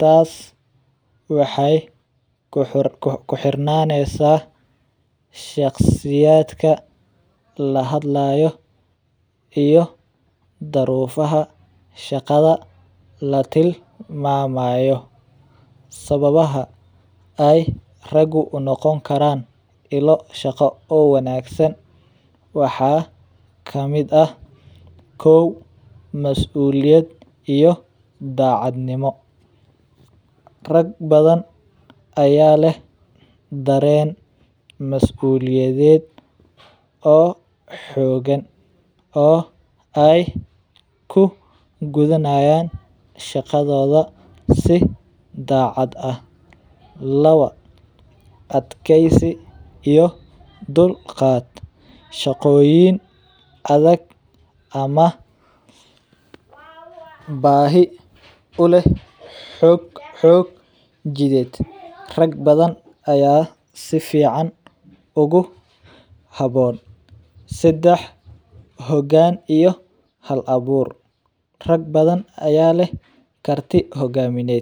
taas waxeey kuxirnaneysa shaqsiyaadka laga hadlaayo iyo daruufaha shaqada latilmamayo, sababaha aay ragu unoqon karaan ilo shaqo oo wanagsan waxaa kamid ah, kow masuuliyad iyo dacadnimo, rag badan ayaa leh dareen masuliyadeed oo xoogan oo aay ku gudanayan shaqadooda si daacad ah, laba adkeysi iyo dulqaad, shaqoyin adag ama baahi uleh xoog jideed rag badan ayaa sifican ugu haboon, sedex hogaan iyo hal abuur, rag badan ayaa leh karti hogamineed.